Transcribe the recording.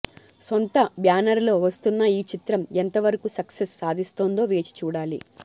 సొంత బ్యానర్లో వస్తున్న ఈ చిత్రం ఎంత వరకు సక్సెస్ సాధిస్తుందో వేచి చూడాలి